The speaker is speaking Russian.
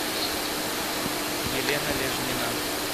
елена лежнина